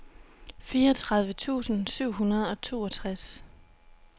fireogtredive tusind syv hundrede og toogtres